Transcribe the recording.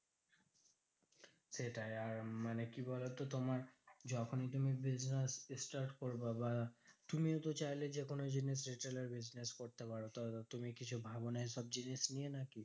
সেটাই আর মানে কি বলতো তোমার যখন তুমি business start করবা বা তুমিও তো চাইলে যেকোনো জিনিস retail এর business করতে পারো। তো তুমি কিছু ভাবো না এইসব জিনিস নিয়ে নাকি?